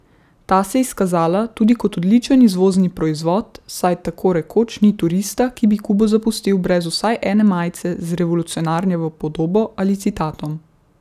Ta se je izkazala tudi kot odličen izvozni proizvod, saj tako rekoč ni turista, ki bi Kubo zapustil brez vsaj ene majice z revolucionarjevo podobo ali citatom.